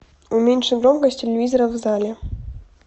уменьши громкость телевизора в зале